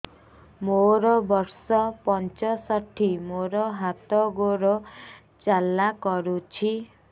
ମୋର ବର୍ଷ ପଞ୍ଚଷଠି ମୋର ହାତ ଗୋଡ଼ ଜାଲା କରୁଛି